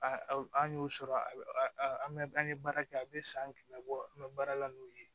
A an y'o sɔrɔ a bɛ an bɛ an ye baara kɛ a bɛ san kile labɔ an bɛ baara la n'o ye